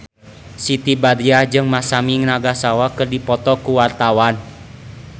Siti Badriah jeung Masami Nagasawa keur dipoto ku wartawan